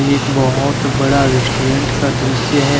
एक बहुत बड़ा रेस्टोरेंट का दृश्य है।